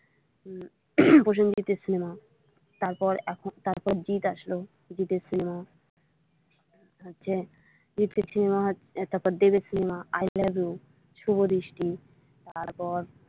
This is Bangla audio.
প্রসেঞ্জিতের cinema তারপর জিৎ আসলো জিৎ এর cinema হচ্ছে তারপর দেবের cinema love you শুভদৃষ্টি তারপর।